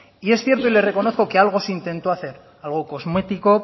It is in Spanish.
y es cierto y le reconozco que algo se intentó hacer algo cosmético